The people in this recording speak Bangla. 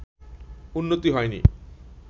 উন্নতি হয়নি